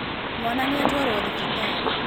Mwana nĩ atwarwo thibitarĩ.